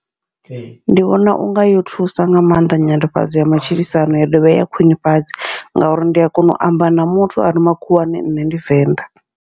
Ndi vhona unga yo thusa nga maanḓa nyanḓafhadzo ya matshilisano ya dovha ya khwiṋifhadza, ngauri ndi a kona u amba na muthu are makhuwani nṋe ndi Venḓa.